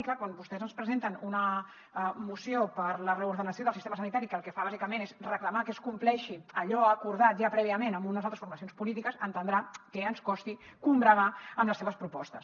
i clar quan vostès ens presenten una moció per a la reordenació del sistema sanitari que el que fa bàsicament és reclamar que es compleixi allò acordat ja prèviament amb unes altres formacions polítiques deu entendre que ens costi combregar amb les seves propostes